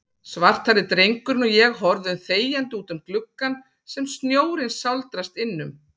Svarthærði drengurinn og ég horfum þegjandi útum gluggann sem snjórinn sáldrast innum.